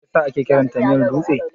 Me yasa ake kiranta miyar dutse?